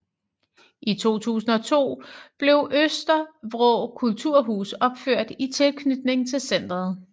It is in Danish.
I 2002 blev Østervrå Kulturhus opført i tilknytning til centret